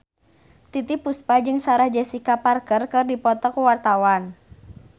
Titiek Puspa jeung Sarah Jessica Parker keur dipoto ku wartawan